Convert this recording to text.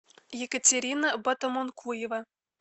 екатерина батомункуева